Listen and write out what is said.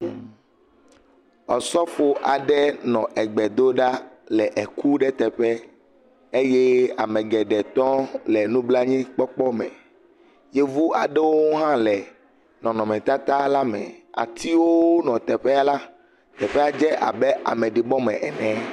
Ɔsɔfo aɖe nɔ egbe do ɖa le eku ɖe teƒe eye ame geɖe tɔ le nublanuikpɔkpɔ me. Yevuwo aɖewo hã le nɔnɔmetata la me. Atiwo nɔ teƒea la, teƒea dze abe ameɖibɔ aɖe me ene.